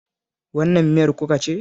Wannan miyar kuka ce